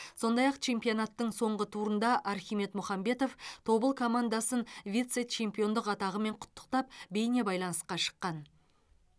сондай ақ чемпионаттың соңғы турында архимед мұхамбетов тобыл командасын вице чемпиондық атағымен құттықтап бейнебайланысқа шыққан